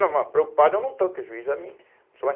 Não, mas preocupado eu não estou, que o juiz é me